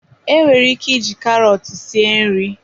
Enwere ike iji karọt sie nri.